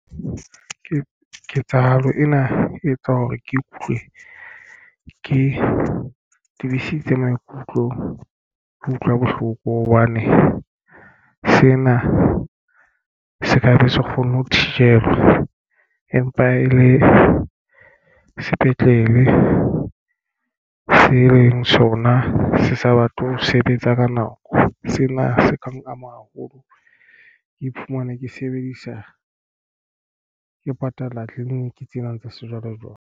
Ke ketsahalo ena e etsa hore ke ikutlwe ke tibisitse maikutlo. Ke utlwa bohloko hobane sena se kabe se kgonne ho thijelwa empa e le sepetlele se leng sona se sa batle ho sebetsa ka nako sena se ka ama haholo. Ke iphumana ke sebedisa ke patala clinic tsena tsa sejwalejwale.